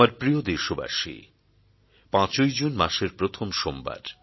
আমার প্রিয় দেশবাসী ৫ ই জুন মাসের প্রথম সোমবার